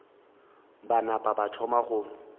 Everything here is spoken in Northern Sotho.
ba napa ba thoma go